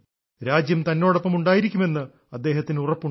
രാജ്യം തന്നോടൊപ്പം ഉണ്ടായിരിക്കുമെന്ന് അദ്ദേഹത്തിന് ഉറപ്പുണ്ട്